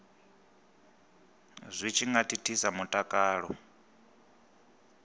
zwi tshi nga thithisa mutakalo